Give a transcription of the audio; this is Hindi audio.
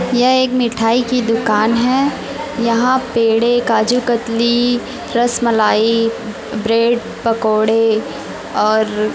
ये एक मिठाई की दुकान है यहां पेड़े काजूकतली रसमलाई ब्रेड पकोड़े और--